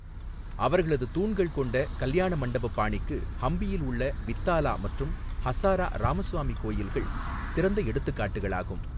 அவர்களது தூண்கள் கொண்ட கல்யாணமண்டப பாணிக்கு ஹம்பியில் உள்ள வித்தாலா மற்றும் ஹசாரா ராமசுவாமி கோயில்கள் சிறந்த எடுத்துக்காட்டுகளாகும்.